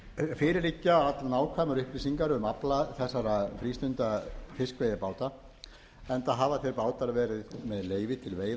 fyrir liggja allnákvæmar upplýsingar um afla þessara frístundafiskveiðibáta enda hafa þeir bátar verið með leyfi til veiða í